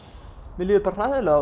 mér líður bara hræðilega